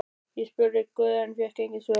Ég spurði guð en fékk engin svör.